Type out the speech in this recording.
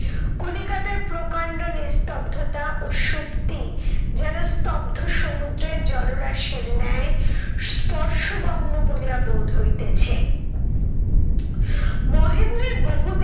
কলিকাতার প্রকান্ড নিস্তব্ধতা ও সুপ্তি যেন স্তব্ধ সমুদ্রের জলরাশির ন্যায় স্পর্শগম্ম বলিয়া বোধ হইতেছে। মহেন্দ্রের বহুদিনের